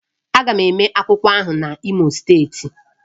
A ga-eme agbamakwụkwọ ahụ n'Imo steeti